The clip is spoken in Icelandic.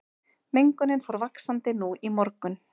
Mengunin fór vaxandi nú í morgun